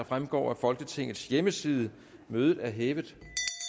fremgår af folketingets hjemmeside mødet er hævet